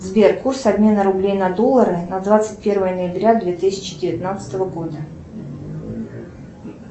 сбер курс обмена рублей на доллары на двадцать первое ноября две тысячи девятнадцатого года